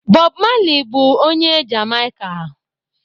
Bob Marley bụ onye Jamaika.